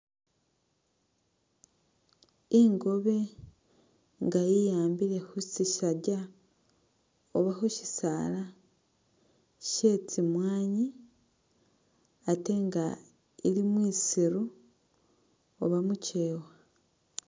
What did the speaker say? Ingobe nga yiyambile khu sisaja oba khushisala shye tsimwanyi atenga ili mwisiru oba mukyewa.